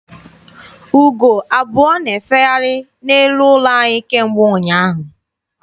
Ugo abụọ na-efegharị n'elu ụlọ anyị kemgbe ụnyaahụ.